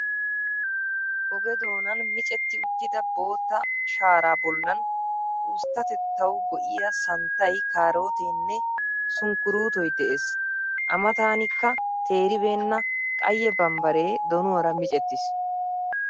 Oge doonan micetti uttida bootta sharaa bollan usttatettawu go''iya santtay, kaarootee nne sunkkuruutoy de'es. A mataanikka teeribeenna qayye bambbaree donuwara micettiis.